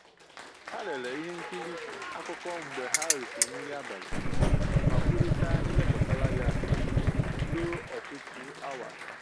Ha lere ihe nkiri akụkọ mgbe ha risịrị nri abalị ma kwurịta ihe gbasara ya ruo ọtụtụ awa